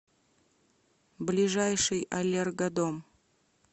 ближайший аллергодом